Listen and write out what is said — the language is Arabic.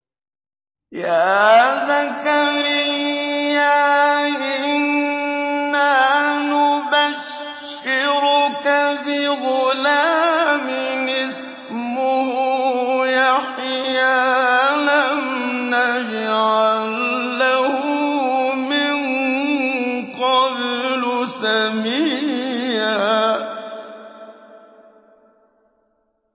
يَا زَكَرِيَّا إِنَّا نُبَشِّرُكَ بِغُلَامٍ اسْمُهُ يَحْيَىٰ لَمْ نَجْعَل لَّهُ مِن قَبْلُ سَمِيًّا